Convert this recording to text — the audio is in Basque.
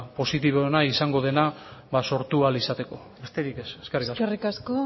positiboena izango dena sortu ahal izateko besterik ez eskerrik asko eskerrik asko